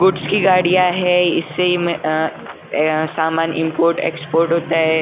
Goods की गड़िया है इसी में समान इम्पोर्ट एक्सपर्ट होता है यहाँ।